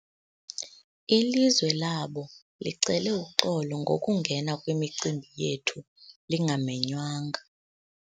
Ilizwe labo licele uxolo ngokungena kwimicimbi yethu lingamenywanga.